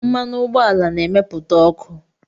Mmanụ ụgbọala na-emepụta ọkụ